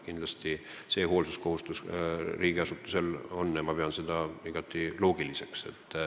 Kindlasti on riigiasutusel hoolsuskohustus ja ma pean seda igati loogiliseks.